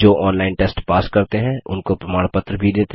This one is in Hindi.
जो ऑनलाइन टेस्ट पास करते हैं उनको प्रमाण पत्र भी देते हैं